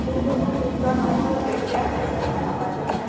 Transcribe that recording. যোন টো বন্ধুত্ব নহল, এতিয়া হৈছে মানে সামাজিক মা